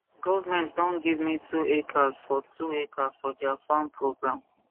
government don give me 2 hectares for hectares for dia farmer program